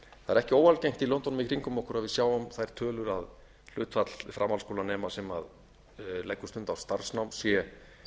er ekki óalgengt í löndunum í kringum okkur að við sjáum þær tölur að hlutfall framhaldsskólanema sem leggur stund á starfsnám sé